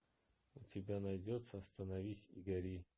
у тебя найдется остановись и гори